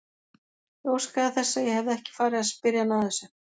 Ég óskaði þess að ég hefði ekki farið að spyrja hana að þessu.